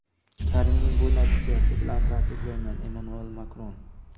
Karimning bu natijasi bilan tabriklayman – Emmanuel Makron.